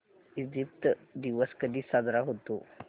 Egypt दिवस कधी साजरा होतो